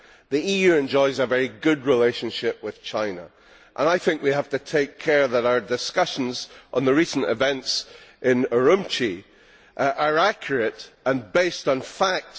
The EU enjoys a very good relationship with China and I think we have to take care that our discussions on the recent events in Urumqi are accurate and based on fact.